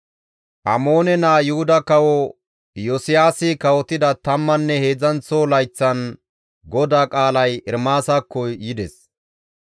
Amoone naa Yuhuda kawo Iyosiyaasi kawotida tammanne heedzdzanththo layththan GODAA qaalay Ermaasakko yides.